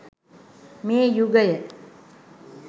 මේ යුගය